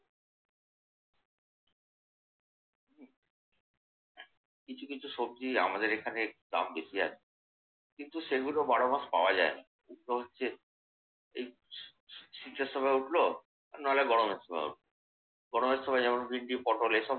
কিছু কিছু সবজি আমাদের এখানে দাম বেশি আছে। কিন্তু সেগুলো বারো মাস পাওয়া যায় না। ওগুলো হচ্ছে এই শীতের সময় উঠলো নইলে গরমের সময় উঠলো। গরমের সময় এই ভেনডি, পটল।